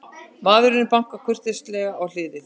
Maðurinn bankar kurteislega í hliðið.